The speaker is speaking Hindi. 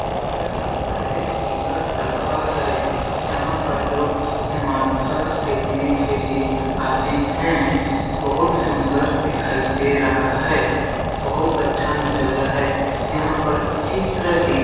ऐसा लगता है कि यह दरबा है जहाँ पर लोग माथा टेकने के लिए आते है बहुत सुंदर दिखाई दे रहा है बहुत अच्छा नज़ारा है यहाँ पर चित्र भी --.